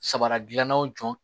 Sabara gilannaw jɔ